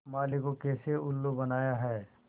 माली को कैसे उल्लू बनाया है